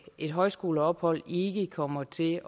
et højskoleophold ikke kommer til